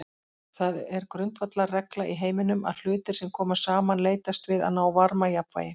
Það er grundvallarregla í heiminum að hlutir sem koma saman leitast við að ná varmajafnvægi.